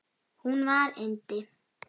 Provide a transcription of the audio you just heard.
Hún var yndi.